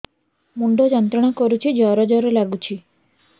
ମୁଣ୍ଡ ଯନ୍ତ୍ରଣା କରୁଛି ଜର ଜର ଲାଗୁଛି